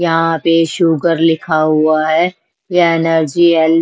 यहाँ पे शुगर लिखा हुआ है यह एनर्जी एल --